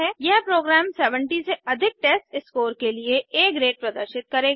यह प्रोग्राम 70 से अधिक टेस्टस्कोर के लिए आ ग्रेड प्रदर्शित करेगा